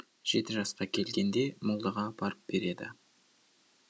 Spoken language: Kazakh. жеті жасқа келгенде молдаға апарып береді